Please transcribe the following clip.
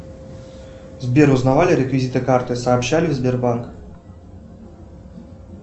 сбер узнавали реквизиты карты сообщали в сбербанк